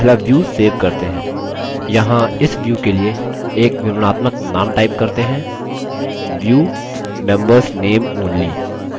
यहाँ इस view के लिए एक विवरणात्मक name type करते हैं: view: members name only